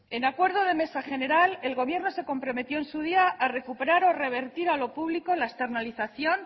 en acuerdo de mesa general el gobierno se comprometió en su día a recuperar o revertir a lo público la externalización